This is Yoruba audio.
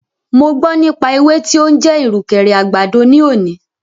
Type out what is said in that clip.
Mo gbọ́ nípa ewé tí o ń jẹ́ ìrùkẹ̀rẹ̀ àgbàdo ní òní.